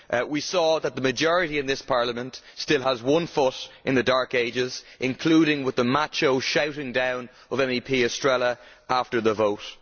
We saw that the majority in this Parliament still has one foot in the dark ages, including with the macho shouting down of Ms Estrela after the vote.